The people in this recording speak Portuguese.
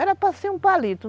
Era para ser um palito.